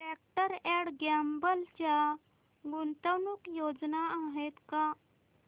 Procter and Gamble च्या गुंतवणूक योजना आहेत का